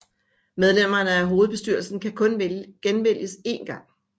Medlemmerne af hovedbestyrelsen kan kun genvælges én gang